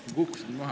Vabandust!